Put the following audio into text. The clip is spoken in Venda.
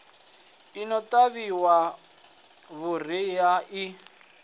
i no ṱavhiwa vhuriha i